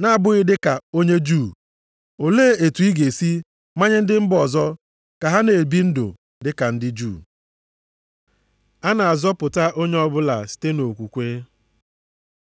na-abụghị dịka onye Juu, olee otu ị ga-esi manye ndị mba ọzọ ka ha na-ebi ndụ dịka ndị Juu?” A na-azọpụta onye ọbụla site nʼokwukwe